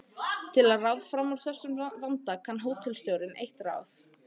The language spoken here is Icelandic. Til að ráða fram úr þessum vanda kann hótelstjórinn eitt ráð.